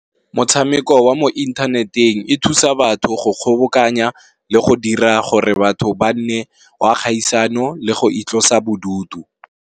Motshameko wa mo inthaneteng e thusa batho go kgobokanya le go dira gore batho ba nne wa kgaisano le go itlosa bodutu.